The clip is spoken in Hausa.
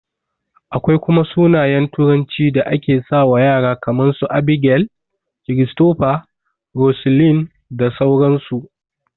Akwai kuma sunayen turanci da ake sawa ƴara kaman su, Abigail, Christopher, Roseline da sauran su